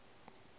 ba be ba re go